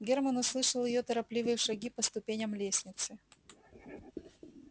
германн услышал её торопливые шаги по ступеням лестницы